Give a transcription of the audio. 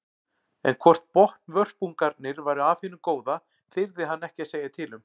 En hvort botnvörpungarnir væru af hinu góða þyrði hann ekki að segja til um.